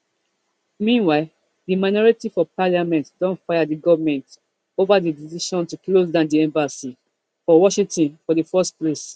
meanwhile di minority for parliament don fire di goment ova di decision to closedown di embassy for washington for di first place